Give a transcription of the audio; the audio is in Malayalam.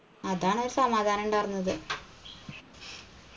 അതാണ് ആ സമാധാനുണ്ടാർന്നത്